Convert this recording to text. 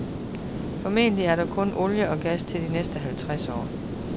Formentlig er der kun olie og gas til de næste halvtreds år.